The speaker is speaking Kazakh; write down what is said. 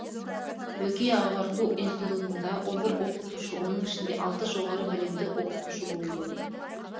бөкей ағарту институтында он бір оқытушы оның ішінде алтыншы жоғары білімді оқытушы болды